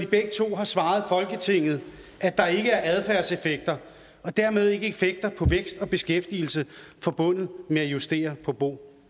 begge to har svaret folketinget at der ikke er adfærdseffekter og dermed ikke effekter på vækst og beskæftigelse forbundet med at justere på bo